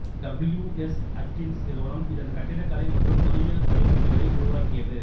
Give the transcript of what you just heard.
W S Atkins நிறுவனம் இதன் கட்டிடக்கலை மற்றும் பொறியியல் வடிவமைப்புக்களை உருவாக்கியது